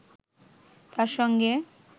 তার সঙ্গে